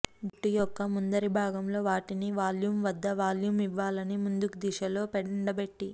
జుట్టు యొక్క ముందరి భాగంలో వాటిని వాల్యూమ్ వద్ద వాల్యూమ్ ఇవ్వాలని ముందుకు దిశలో ఎండబెట్టి